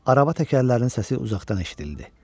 araba təkərlərinin səsi uzaqdan eşidildi.